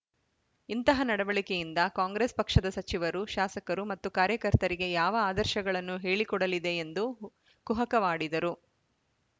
ಇಂತಹ ನಡವಳಿಕೆಯಿಂದ ಕಾಂಗ್ರೆಸ್‌ ಪಕ್ಷದ ಸಚಿವರು ಶಾಸಕರು ಮತ್ತು ಕಾರ್ಯಕರ್ತರಿಗೆ ಯಾವ ಆದರ್ಶಗಳನ್ನು ಹೇಳಿಕೊಡಲಿದೆ ಎಂದು ಕುಹಕವಾಡಿದರು